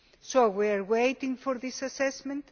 So we are waiting for this assessment